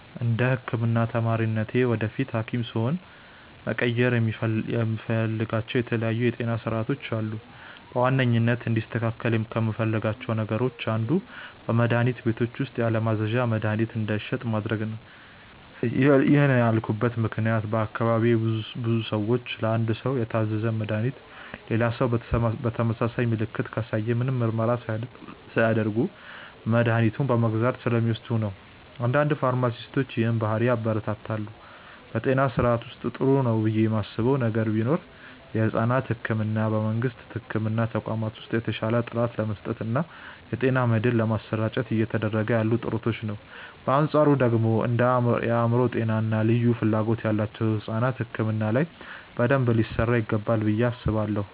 እንደ ህክምና ተማሪነቴ ወደፊት ሀኪም ስሆን መቀየር የምፈልጋቸው የተለያዩ የጤና ስርዓቶች አሉ። በዋናነት እንዲስተካከል ከምፈልጋቸው ነገሮች አንዱ በመድሀኒት ቤቶች ውስጥ ያለማዘዣ መድሀኒት እንዳይሸጥ ማድረግ ነው። ይህን ያልኩበት ምክንያት በአካባቢዬ ብዙ ሰዎች ለአንድ ሰው የታዘዘን መድሃኒት ሌላ ሰው ተመሳሳይ ምልክትን ካሳየ ምንም ምርመራ ሳያደርግ መድኃኒቱን በመግዛት ስለሚወስዱ ነው። አንዳንድ ፋርማሲስቶች ይህንን ባህሪ ያበረታታሉ። በጤና ስርዓቱ ውስጥ ጥሩ ነው ብዬ ማስበው ነገር ቢኖር የሕፃናት ሕክምናን በመንግስት የሕክምና ተቋማት ውስጥ በተሻለ ጥራት ለመስጠት እና የጤና መድህን ለማሰራጨት እየተደረጉ ያሉ ጥረቶችን ነው። በአንፃሩ ደግሞ እንደ የአእምሮ ጤና እና ልዩ ፍላጎት ያላቸው ሕፃናት ሕክምና ላይ በደንብ ሊሰራ ይገባል ብዬ አስባለሁ።